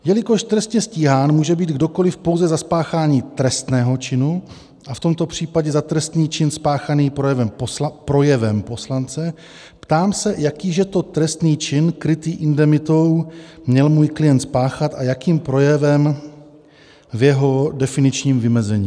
Jelikož trestně stíhán může být kdokoli pouze za spáchání trestného činu, a v tomto případě za trestný čin spáchaný projevem poslance, ptám se, jaký že to trestný čin krytý indemitou měl můj klient spáchat a jakým projevem v jeho definičním vymezení.